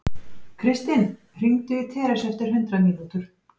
Kristinn, hringdu í Teresu eftir hundrað mínútur.